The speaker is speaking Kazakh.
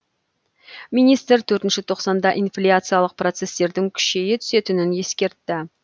министр төртінші тоқсанда инфляциялық процестердің күшейе түсетінін ескертті